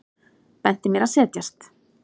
Benti mér að setjast.